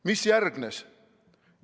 Mis järgnes?